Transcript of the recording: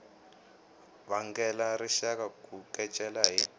vangela rixaka ku kecela hi